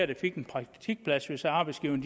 der fik en praktikplads hvis arbejdsgiverne